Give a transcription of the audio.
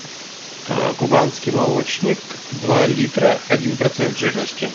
кубанский молочник два литра один процент жирности